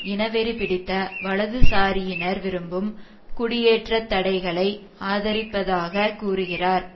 இனவெறி பிடித்த வலதுசாரியினர் விரும்பும் குடியேற்றத்தடைகளை ஆதரிப்பதாக கூறுகிறார்